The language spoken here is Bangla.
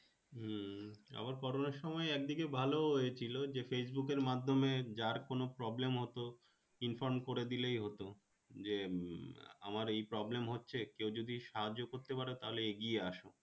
হম আবার করোনা সময় একদিক ভালো হয়েছিল যে Facebook এর মাধ্যমে যার কোনো Problem হতো Inform করে দিয়ে হতো যে হম আমের এই Problem হচ্ছে কেউ যদি সাহায্য করতে পারো তাহলে এগিয়ে আসো।